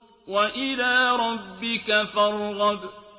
وَإِلَىٰ رَبِّكَ فَارْغَب